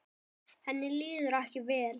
Henni líður ekki vel.